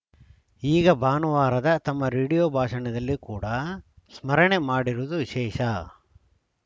ಈಗ ಭಾನುವಾರದ ತಮ್ಮ ರೇಡಿಯೋ ಭಾಷಣದಲ್ಲಿ ಕೂಡ ಸ್ಮರಣೆ ಮಾಡಿರುವುದು ವಿಶೇಷ